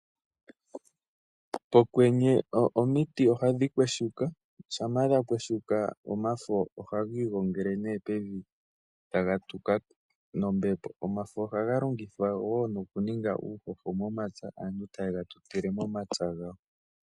Okwenye omiti ohadhi kweshuka shampa dhakweshuka omafo ohagi igongele pevi taga tuka. Omafo ohaga longithwa woo nokuninga uushosho taye gatutile momapya gawo.